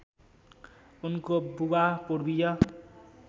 उनको बुबा पूर्वीय